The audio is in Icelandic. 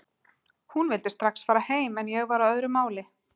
Hún vildi strax fara heim en ég var á öðru máli.